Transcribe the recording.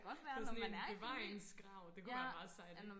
det er sådan en bevaringsgrav det kunne være meget sejt